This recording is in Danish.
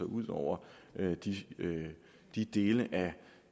ud over de dele af